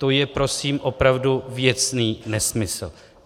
To je prosím opravdu věcný nesmysl.